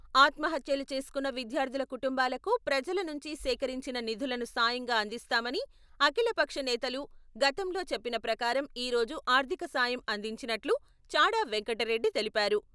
ఆత్మహత్యలు చేసుకున్న విద్యార్థుల కుటుంబాలకు ప్రజల నుంచి సేకరించిన నిధులను సాయంగా అందిస్తామని అఖిల పక్ష నేతలు గతంలో చెప్పిన ప్రకారం ఈరోజు ఆర్థికసాయం అందించినట్లు చాడా వెంకటరెడ్డి తెలిపారు.